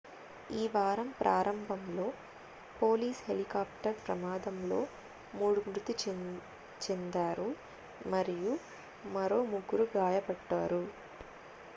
ఈ వారం ప్రారంభంలో పోలీసు హెలికాప్టర్ ప్రమాదంలో 3 మృతి చెందారు మరియు మరో 3 గాయపడ్డారు